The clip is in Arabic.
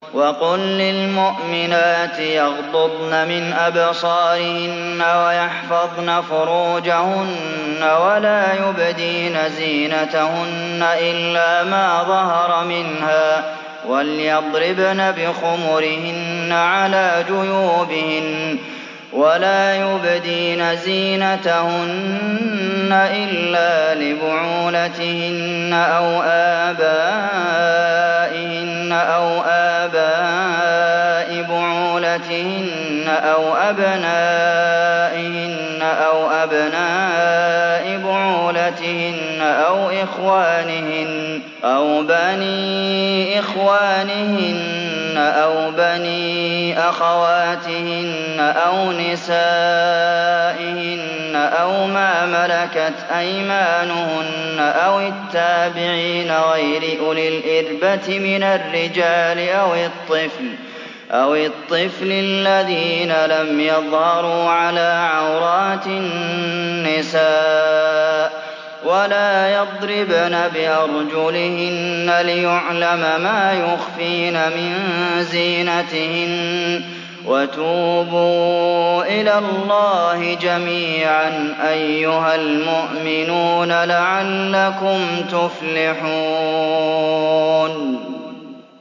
وَقُل لِّلْمُؤْمِنَاتِ يَغْضُضْنَ مِنْ أَبْصَارِهِنَّ وَيَحْفَظْنَ فُرُوجَهُنَّ وَلَا يُبْدِينَ زِينَتَهُنَّ إِلَّا مَا ظَهَرَ مِنْهَا ۖ وَلْيَضْرِبْنَ بِخُمُرِهِنَّ عَلَىٰ جُيُوبِهِنَّ ۖ وَلَا يُبْدِينَ زِينَتَهُنَّ إِلَّا لِبُعُولَتِهِنَّ أَوْ آبَائِهِنَّ أَوْ آبَاءِ بُعُولَتِهِنَّ أَوْ أَبْنَائِهِنَّ أَوْ أَبْنَاءِ بُعُولَتِهِنَّ أَوْ إِخْوَانِهِنَّ أَوْ بَنِي إِخْوَانِهِنَّ أَوْ بَنِي أَخَوَاتِهِنَّ أَوْ نِسَائِهِنَّ أَوْ مَا مَلَكَتْ أَيْمَانُهُنَّ أَوِ التَّابِعِينَ غَيْرِ أُولِي الْإِرْبَةِ مِنَ الرِّجَالِ أَوِ الطِّفْلِ الَّذِينَ لَمْ يَظْهَرُوا عَلَىٰ عَوْرَاتِ النِّسَاءِ ۖ وَلَا يَضْرِبْنَ بِأَرْجُلِهِنَّ لِيُعْلَمَ مَا يُخْفِينَ مِن زِينَتِهِنَّ ۚ وَتُوبُوا إِلَى اللَّهِ جَمِيعًا أَيُّهَ الْمُؤْمِنُونَ لَعَلَّكُمْ تُفْلِحُونَ